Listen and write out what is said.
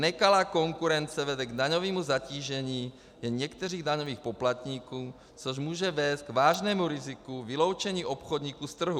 Nekalá konkurence vede k daňovému zatížení jen některých daňových poplatníků, což může vést k vážnému riziku vyloučení obchodníků z trhu.